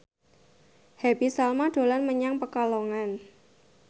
Happy Salma dolan menyang Pekalongan